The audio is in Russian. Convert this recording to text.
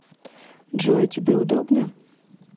джой тебе удобно